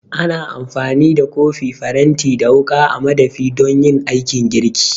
Ana amfani da kofi, faranti da wuƙa a madafi don yin aikin girki